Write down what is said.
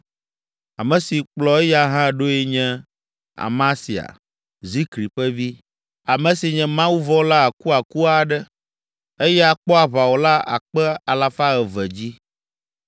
Ame si kplɔ eya hã ɖoe nye Amasia, Zikri ƒe vi, ame si nye mawuvɔ̃la akuaku aɖe; eya kpɔ aʋawɔla akpe alafa eve (200,000) dzi.